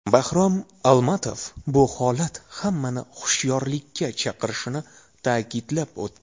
Bahrom Almatov bu holat hammani hushyorlikka chaqirishini ta’kidlab o‘tdi.